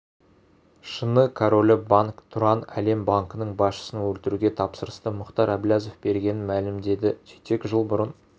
шыны королі банк тұран әлем банкінің басшысын өлтіруге тапсырысты мұхтар әблязов бергенін мәлімдеді сөйтсек жыл бұрын